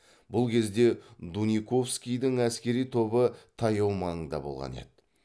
бұл кезде дуниковскийдің әскери тобы таяу маңда болған еді